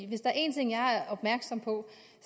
hvis der er en ting jeg er opmærksom på